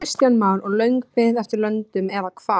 Kristján Már: Og löng bið eftir löndun eða hvað?